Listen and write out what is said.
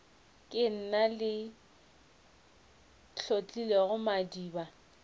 ke nna ke hlotlilego madiba